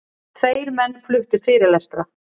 Tveir menn fluttu fyrirlestra.